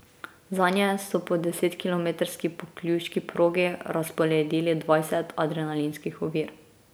Zanje so po desetkilometrski pokljuški progi razporedili dvajset adrenalinskih ovir.